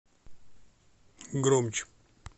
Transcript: громче